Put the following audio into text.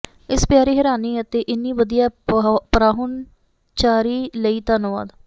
ਇਸ ਪਿਆਰੀ ਹੈਰਾਨੀ ਅਤੇ ਇੰਨੀ ਵਧੀਆ ਪਰਾਹੁਣਚਾਰੀ ਲਈ ਧੰਨਵਾਦ